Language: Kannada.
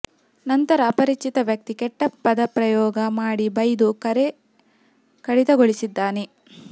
ನಂತರ ಅಪರಿಚಿತ ವ್ಯಕ್ತಿ ಕೆಟ್ಟ ಪದಪ್ರಯೋಗ ಮಾಡಿ ಬೈದು ಕರೆ ಕಡಿತಗೊಳಿಸಿದ್ದಾನೆ